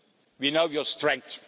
that. We know your strength.